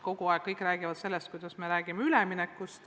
Kogu aeg on jutt olnud sellest, et meil on üleminek.